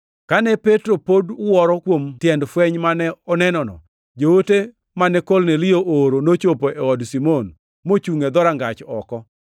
Kane Petro pod wuoro kuom tiend fweny mane onenono, joote mane Kornelio ooro nochopo e od Simon, mochungʼ e dhorangach oko.